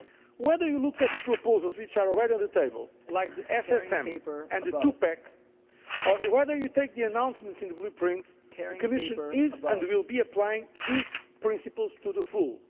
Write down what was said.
Whether you look at the proposals which are already on the table, like the SSM and the Two Pack, or whether you take the announcements in the Blueprint, the Commission is and will be applying these principles to the full.